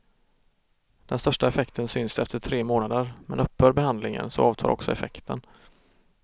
Den största effekten syns efter tre månader, men upphör behandlingen så avtar också effekten.